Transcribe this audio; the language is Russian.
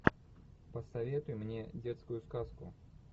посоветуй мне детскую сказку